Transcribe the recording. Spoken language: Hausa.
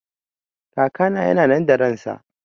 Kakana yana nan da ransa